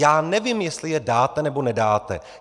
Já nevím, jestli je dáte, nebo nedáte.